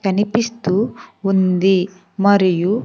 కనిపిస్తూ ఉంది మరియు.